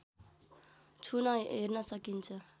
छुन हेर्न सकिन्छ